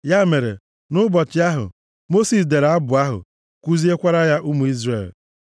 Ya mere, nʼụbọchị ahụ, Mosis dere abụ ahụ, kuziekwara ya ụmụ Izrel.